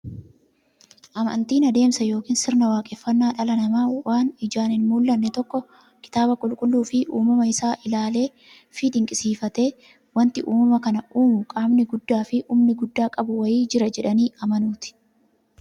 Amantiin adeemsa yookiin sirna waaqeffannaa dhalli namaa waan ijaan hinmullanne tokko kitaaba qulqulluufi uumama isaa isaa ilaaleefi dinqisiifatee, wanti uumama kana uumu qaamni guddaafi humna guddaa qabu wa'ii jira jedhanii amanuuti.